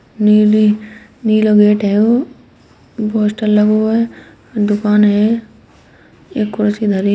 नीली नीला गेट है वो पोस्टर लगा हुआ है दुकान है एक कुर्सी धरी --